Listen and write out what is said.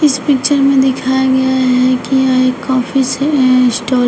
इस पिक्चर में दिखाया गया है कि एक कॉफी से है स्टॉल --